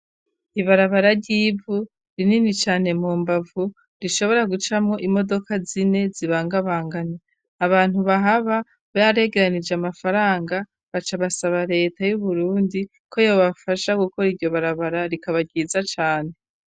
Ibarabara ry'ivu rinini cane mu mbavu rishobora gucamwo imodoka zine zibangabanganye. Abantu bahaba baregeranije amafaranga baca basaba leta y'Uburundi ko yobafasha gukora iryo barabara rikaba ryiza cane.